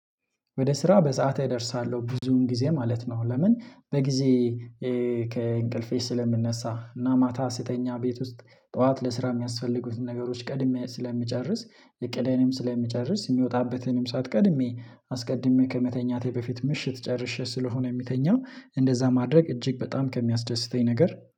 ወደ ስራ በሰአቴ እደርሳለው ብዙን ጊዜ ማለት ነው። ለምን በጊዜ ከእንቅልፌ ስለምነሳ እና ማታ ስተኛ ቤት ውስጥ ጠዋት ለስራ የሚያስፈልጉትን ነገሮች ቀድሜ ስለምጨርስ እቅዴንም ስለምጨርስ የምወጣበትንም ሳዓት ቀድሜ አስቀድሜ ከመተኛቴ በፊት ምሽት ጨርሼ ስለሆነ የምተኛው እንደዛ ማድረግ እጅግ በጣም ከሚያስደስተኝ ነገር